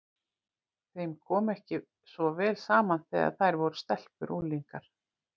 Þeim kom ekki svo vel saman þegar þær voru stelpur og unglingar.